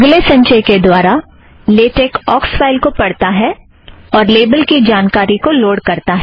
अगले संचय के दौरान लेटेक ऑक्स फ़ाइल को पढ़ता है और लेबल की जानकारी को लोड़ करता है